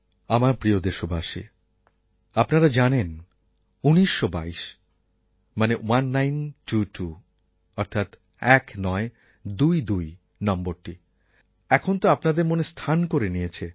আমার প্রিয় দেশবাসী আপনারা জানেন ১৯২২ নম্বর এখন তো আপনাদের মনে স্থান করে নিয়েছে